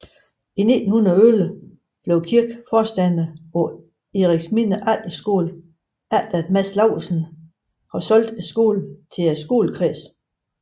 I 1917 bliver Kirk forstander på Eriksminde Efterskole efter at Mads Laursen har solgt skolen til skolekredsen